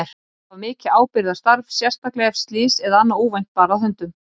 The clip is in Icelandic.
Þetta var mikið ábyrgðarstarf, sérstaklega ef slys eða annað óvænt bar að höndum.